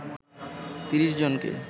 ৩০ জনকে